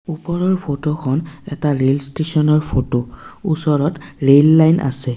ওপৰৰ ফটোখন এটা ৰেল ষ্টেচনৰ ফটো ওচৰত ৰেল লাইন আছে।